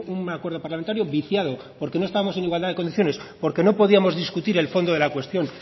un acuerdo parlamentario viciado porque no estábamos en igualdad de condiciones porque no podíamos discutir el fondo de la cuestión